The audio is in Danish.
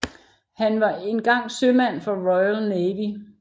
Han var engang sømand for Royal Navy